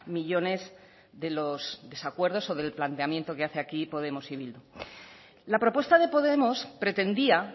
millónes de los desacuerdos o del planteamiento que hace aquí podemos y bildu la propuesta de podemos pretendía